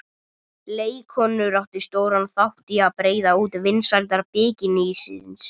Leikkonur áttu stóran þátt í að breiða út vinsældir bikinísins.